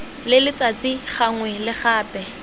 le letsatsi gangwe le gape